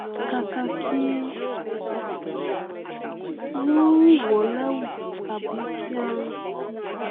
kàkà kí wọ́n wọ̀ lẹwù tàbí kí a tì